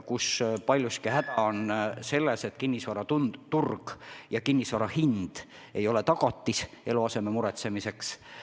Häda on paljuski selles, et kinnisvaraturg on selline, et kinnisvara hind ei ole tagatis eluaseme muretsemiseks.